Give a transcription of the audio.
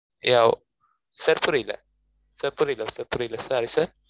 யாவ் sir புரில sir புரில sir புரில sorry sir